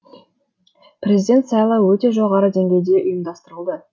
президент сайлауы өте жоғары деңгейде ұйымдастырылды